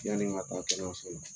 Yanni n ka taa kɛnɛyaso la.